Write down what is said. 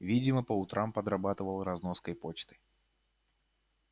видимо по утрам подрабатывал разноской почты